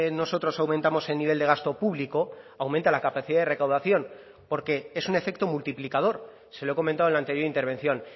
nosotros aumentamos el nivel de gasto público aumenta la capacidad de recaudación porque es un efecto multiplicador se lo he comentado en la anterior intervención